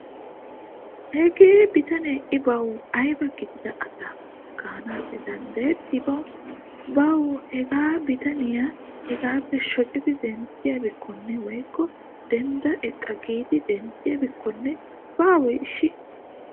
Hagee bitane i bawu ayba gidida asa gaanaassi danddayetti bawu. Bawu hagaa bitaniya hegaappe shocidi denttiyabikkonne woykko dendda eqqa giidi denttiyaabikkonne baawe ishshi.